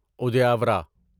ادیاورا